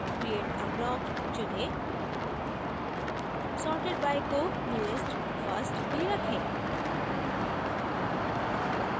create a block चुनें sorted by को newest first ही रखें